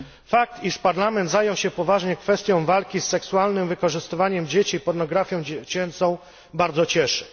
Fakt, iż Parlament zajął się poważnie kwestią walki z seksualnym wykorzystywaniem dzieci i pornografią dziecięcą, bardzo cieszy.